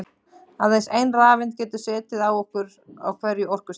Aðeins ein rafeind getur setið á hverju orkustigi.